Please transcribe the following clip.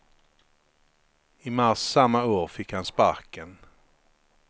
I mars samma år fick han sparken.